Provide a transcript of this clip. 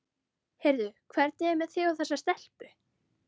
Heyrðu, hvernig er með þig og þessa stelpu?